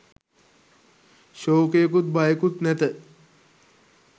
ශෝකයකුත් භයකුත් නැත.